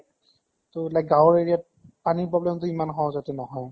ত like গাৱঁৰ area ত পানীৰ problem টো ইমান সহজ্তে নহয়।